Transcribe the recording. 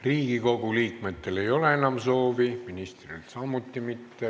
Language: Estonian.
Riigikogu liikmetel ei ole enam soovi sõna võtta, ministril samuti mitte.